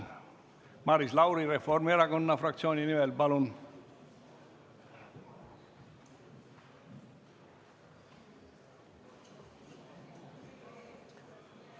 Maris Lauri Reformierakonna fraktsiooni nimel, palun!